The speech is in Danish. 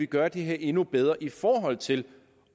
gøre det her endnu bedre i forhold til